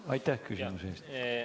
Aitäh küsimuse eest!